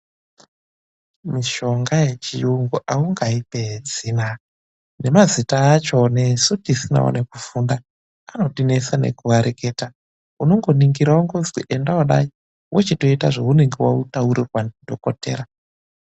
MISHONGA YECHIYUNGU AUNGAIPEDZI NA NEMAZITA ACHO ANOTINESA NEKUTOMAREKETAUNONGONINGIRA WONGOZI ENDA WOODAYI WOTOITA ZVAUNENGE WATAURIRWA NEMADOKODHEYA